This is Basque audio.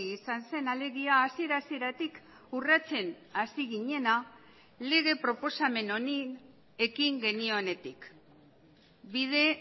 izan zen alegia hasiera hasieratik urratsen hasi ginena lege proposamen honi ekin genionetik bide